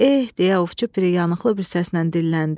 Eh, deyə ovçu piri yanıqlı bir səslə dilləndi.